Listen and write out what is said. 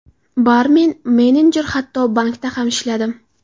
Barmen, menejer, hatto bankda ham ishladim.